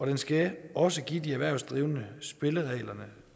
den skal også give de erhvervsdrivende de spilleregler